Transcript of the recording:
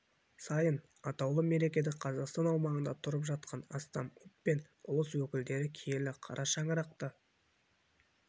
сайын атаулы мерекеде қазақстан аумағында тұрып жатқан астам ұлт пен ұлыс өкілдері киелі қара шаңырақта